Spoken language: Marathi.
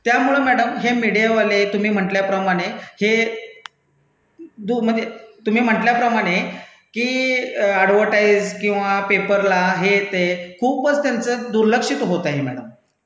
त्यामुळं मैडम हे मिडियावाले तुम्ही म्हणटल्याप्रमाणे हे म्हणजे तुम्ही म्हणटल्याप्रमाणे की अॅडर्व्हटाईस किंवा पेपरला हे ते खूपच त्याचं दुर्लक्षित होत आहे मैडम.